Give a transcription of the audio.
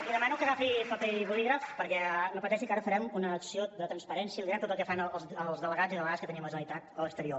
li demano que agafi paper i bolígraf perquè no pateixi que ara farem una acció de transparència i li direm tot el que fan els delegats i delegades que tenim la generalitat a l’exterior